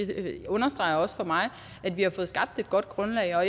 det understreger også for mig at vi har fået skabt et godt grundlag og